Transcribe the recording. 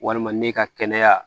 Walima ne ka kɛnɛya